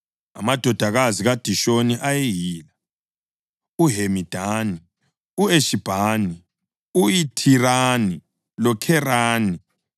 Amadodana kaDishoni ayeyila: uHemidani, u-Eshibhani, u-Ithirani loKherani.